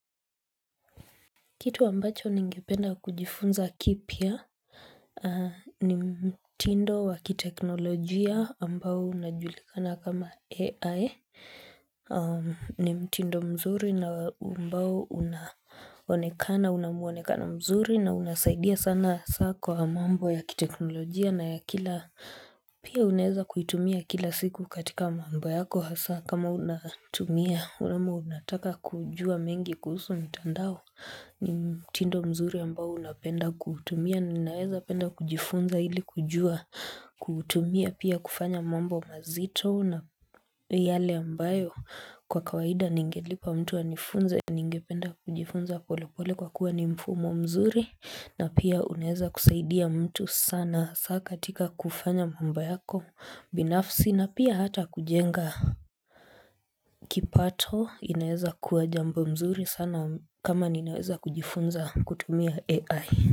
Kitu ambacho ni ngependa kujifunza kipia ni mtindo wakiteknolojia ambao unajulikana kama AI. Ni mtindo mzuri na ambao unaonekana, unamuonekano mzuri na unasaidia sana hasa kwa mambo ya kiteknolojia na ya kila pia unaweza kuitumia kila siku katika mambo yako hasa kama unatumia ama unataka kujua mengi kuhusu mitandao. Ni mtindo mzuri ambao napenda kuutumia ninaweza penda kujifunza hili kujua. Kuutumia pia kufanya mambo mazito na yale ambayo kwa kawaida ningelipa mtu anifunze. Ningependa kujifunza pole pole kwa kuwa ni mfumo mzuri na pia unaweza kusaidia mtu sana hasa katika kufanya mambo yako binafsi na pia hata kujenga. Kipato inaweza kuwa jambo mzuri sana kama ninaweza kujifunza kutumia AI.